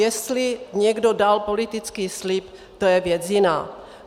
Jestli někdo dal politický slib, to je věc jiná.